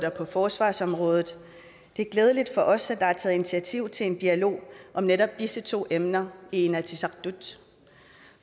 og på forsvarsområdet det er glædeligt for os at der er taget initiativ til en dialog om netop disse to emner i inatsisartut